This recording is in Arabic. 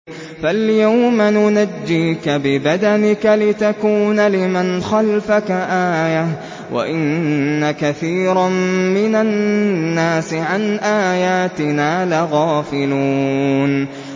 فَالْيَوْمَ نُنَجِّيكَ بِبَدَنِكَ لِتَكُونَ لِمَنْ خَلْفَكَ آيَةً ۚ وَإِنَّ كَثِيرًا مِّنَ النَّاسِ عَنْ آيَاتِنَا لَغَافِلُونَ